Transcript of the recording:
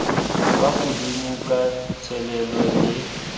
kwa godimo ka thelelo le